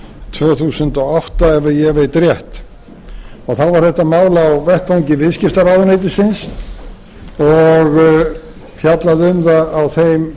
tvö þúsund og átta ef ég veit rétt þá var þetta mál á vettvangi viðskiptaráðuneytisins og fjallað um það á þeim